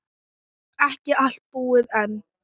Ekki allt búið enn.